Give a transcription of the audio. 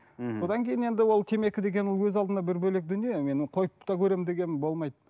мхм содан кейін енді ол темекі деген ол өз алдына бір бөлек дүние мен қойып та қөремін дегенмін болмайды